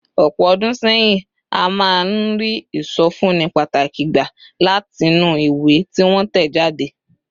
Ọ̀pọ̀ ọdún sẹ́yìn, a máa ń rí ìsọfúnni pàtàkì gbà látinú ìwé tí wọ́n tẹ̀ jáde.